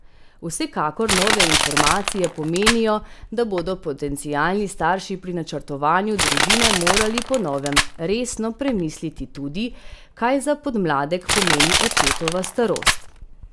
Vsekakor nove informacije pomenijo, da bodo potencialni starši pri načrtovanju družine morali po novem resno premisliti tudi, kaj za podmladek pomeni očetova starost.